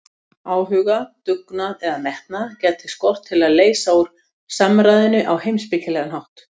Áhuga, dugnað eða metnað gæti skort til að leysa úr samræðunni á heimspekilegan hátt.